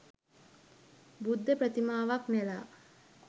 බුද්ධ ප්‍රතිමාවක් නෙලා